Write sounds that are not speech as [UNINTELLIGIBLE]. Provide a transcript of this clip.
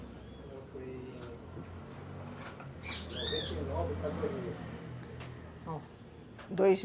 [UNINTELLIGIBLE] noventa e nove para dois mil [UNINTELLIGIBLE]